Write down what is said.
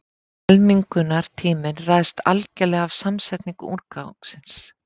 Helmingunartíminn ræðst algerlega af samsetningu úrgangsins.